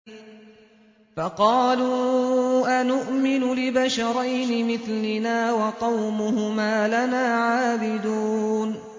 فَقَالُوا أَنُؤْمِنُ لِبَشَرَيْنِ مِثْلِنَا وَقَوْمُهُمَا لَنَا عَابِدُونَ